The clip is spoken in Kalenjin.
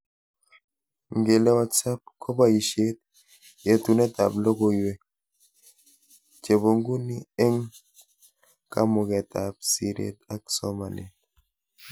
Ngele WhatsApp koboishet yetunetab logoiwek chebonguni ebg kamugetab siret ak somanet